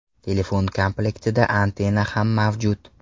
Telefon komlektida antenna ham mavjud.